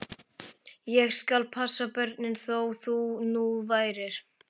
Ég skal passa börnin, þó það nú væri.